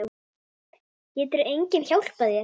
Getur enginn hjálpað þér?